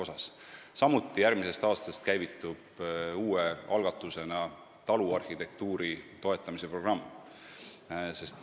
Samuti käivitub järgmisest aastast uue algatusena taluarhitektuuri toetamise programm.